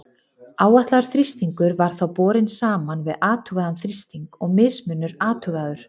Áætlaður þrýstingur var þá borinn saman við athugaðan þrýsting og mismunur athugaður.